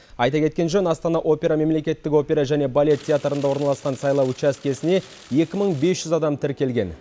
айта кеткен жөн астана опера мемлекеттік опера және балет театрында орналасқан сайлау учаскесіне екі мың бес жүз адам тіркелген